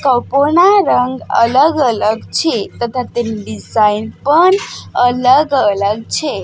કપો ના રંગ અલગ અલગ છે તથા તેની ડિઝાઇન પણ અલગ અલગ છે.